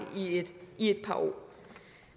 i et par år